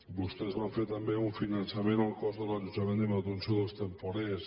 vostès van fer també un finançament al cost de l’allotjament i manutenció dels temporers